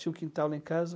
Tinha um quintal lá em casa.